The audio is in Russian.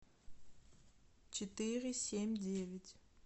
четыре семь девять